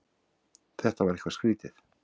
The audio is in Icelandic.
Þetta var eitthvað skrýtið.